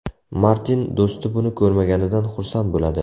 Martin do‘sti buni ko‘rmaganidan xursand bo‘ladi.